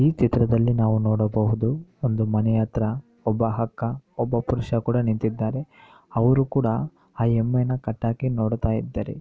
ಈ ಚಿತ್ರದಲ್ಲಿ ನಾವು ನೋಡಬಹುದು ಒಂದು ಮನೆ ಹತ್ರ ಒಬ್ಬ ಹಕ್ಕ ಒಬ್ಬ ಪುರುಷ ಕೂಡ ನಿಂತಿದ್ದಾರೆ ಅವ್ರು ಕೂಡ ಆ ಎಮ್ಮೆನ ಕಟ್ಹಾಕಿ ನೋಡ್ತಾ ಇದ್ದಾರೆ.